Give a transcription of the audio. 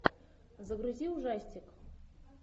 загрузи ужастик